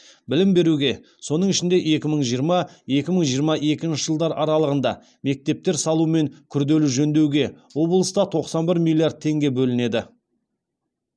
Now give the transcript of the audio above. білім беруге соның ішінде екі мың жиырма екі мың жиырма екінші жылдар аралығында мектептер салу мен күрделі жөндеуге облыста тоқсан бір миллиард теңге бөлінеді